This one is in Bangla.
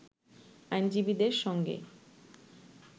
আইনজীবীদের সঙ্গে